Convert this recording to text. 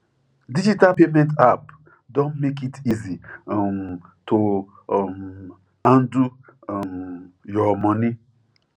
digital payment app don make it easy um to um handle um your money